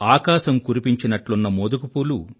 ఆకాశం కురిపించినట్లున్న మోదుగపూలు